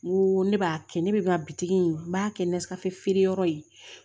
N ko ne b'a kɛ ne bɛ ka bitigi in n b'a kɛ ni nasirafeereyɔrɔ ye